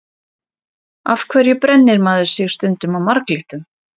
Af hverju brennir maður sig stundum á marglyttum?